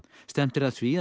stefnt er að því að